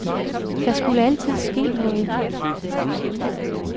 Der skulle altid ske noget.